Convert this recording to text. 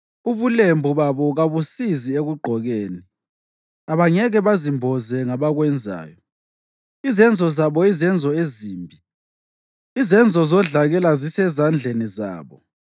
Ubulembu babo kabusizi ekugqokeni; abangeke bazimboze ngabakwenzayo. Izenzo zabo yizenzo ezimbi, izenzo zodlakela zisezandleni zabo.